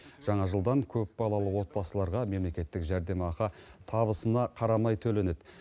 жаңа жылдан көпбалалы отбасыларға мемлекеттік жәрдемақы табысына қарамай төленеді